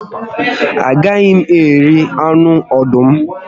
A gaghị m eri anụ ọdụm